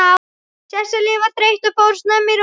Sesselja var þreytt og fór snemma í rúmið.